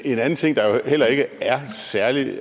en anden ting der heller ikke er særlig